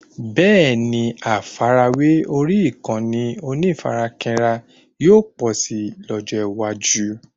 Bẹ́ẹ̀ni, àfàrawé orí ìkànnì onífarakínra yóò pọ̀ si lójó iwaju